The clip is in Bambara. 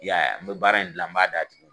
Y'a ye n bɛ baara in dilan n b'a d'a tigi